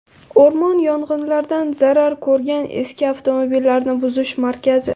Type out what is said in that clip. O‘rmon yong‘inlaridan zarar ko‘rgan eski avtomobillarni buzish markazi.